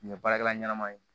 Nin ye baarakɛla ɲɛnɛma ye